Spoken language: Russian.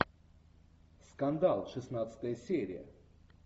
скандал шестнадцатая серия